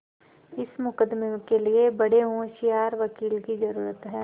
इस मुकदमें के लिए बड़े होशियार वकील की जरुरत है